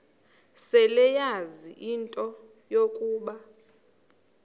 seleyazi into yokuba